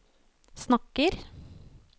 snakker